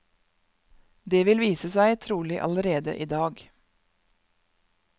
Det vil vise seg, trolig allerede i dag.